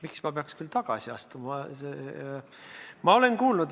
Miks ma peaks küll tagasi astuma?